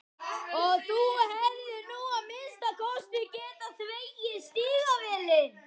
Og þú hefðir nú að minnsta kosti getað þvegið stígvélin.